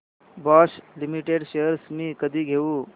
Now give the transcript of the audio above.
Bosch limited shares मी कधी घेऊ